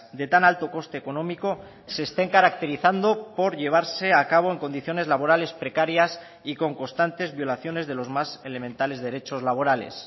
de tan alto coste económico se estén caracterizando por llevarse a cabo en condiciones laborales precarias y con constantes violaciones de los más elementales derechos laborales